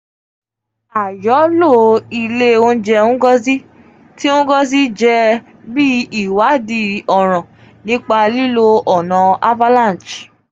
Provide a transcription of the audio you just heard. a yoo lo ile ounjẹ ngozi ti ngozi jẹ um bi iwadii ọran nipa lilo ọna avalanche.